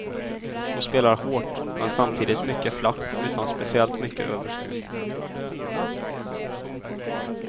Hon spelar hårt, men samtidigt mycket flackt utan speciellt mycket överskruv.